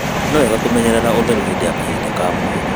Nĩ wega kũmenyerera ũtheru hĩndĩ ya kahinda ka mweri.